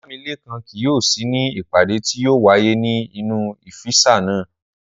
Ọlámilékan kì yóò sí ní ìpàdé tí yóò wáyé ní inú ọ́físì náà